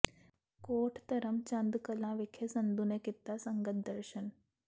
ਕੋਟ ਧਰਮ ਚੰਦ ਕਲਾਂ ਵਿਖੇ ਸੰਧੂ ਨੇ ਕੀਤਾ ਸੰਗਤ ਦਰਸ਼ਨ